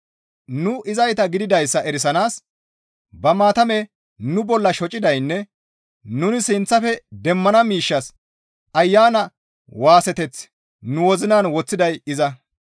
Nu izayta gididayssa erisanaas ba maatame nu bolla shocidaynne nuni sinththafe demmana miishshas Ayana waaseteth nu wozinan woththiday iza.